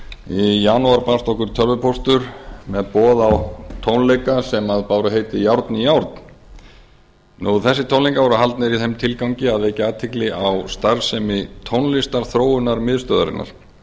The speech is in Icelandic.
í janúar barst okkur tölvupóstur með boð á tónleika sem báru heitið járn járn þessir tónleikar voru haldnir í þeim tilgangi að vekja athygli á starfsemi tónlistarþróunarmiðstöðvarinnar